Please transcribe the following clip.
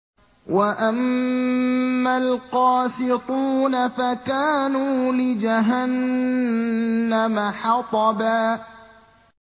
وَأَمَّا الْقَاسِطُونَ فَكَانُوا لِجَهَنَّمَ حَطَبًا